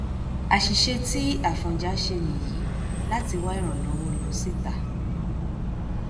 àṣìṣe tí afọnjá ṣe nìyí láti wá ìrànlọwọ lọ síta